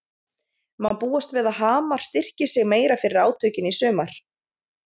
Má búast við að Hamar styrki sig meira fyrir átökin í sumar?